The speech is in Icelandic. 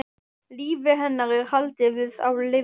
Lífi hennar er haldið við á lyfjum.